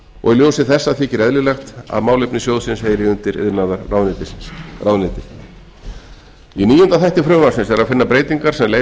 og í ljósi þessa þykir eðlilegt að málefni sjóðsins heyri undir iðnaðarráðuneytið í níunda þætti frumvarpsins er að finna breytingar sem leiða